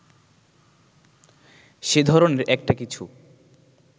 সে-ধরনের একটা কিছু